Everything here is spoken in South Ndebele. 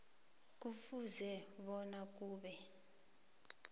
kufuze bona kube